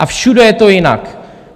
A všude je to jinak.